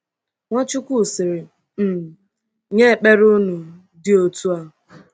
Nwachukwu sịrị: um “Nye ekpere unu, dị otu a:…”